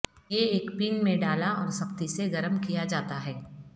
یہ ایک پین میں ڈالا اور سختی سے گرم کیا جاتا ہے